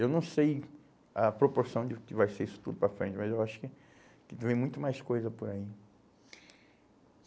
Eu não sei a proporção de que vai ser isso tudo para frente, mas eu acho que que então vem muito mais coisa por aí.